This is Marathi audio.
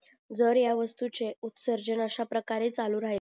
जर ह्या वास्तूचे उत्सर्जन अशा प्रकारे चालू राहि